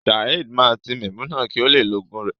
Saeed ma ti Memunat ki o le lo ogun rẹ.